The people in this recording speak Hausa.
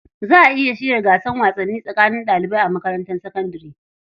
Za a iya shirya gasar wasanni tsakanin ɗalibai a makarantar sakandare.